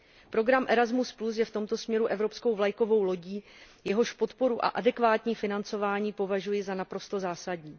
Program Erasmus plus je v tomto směru evropskou vlajkovou lodí, jeho podporu a adekvátní financování považuji za naprosto zásadní.